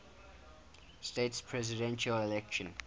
states presidential election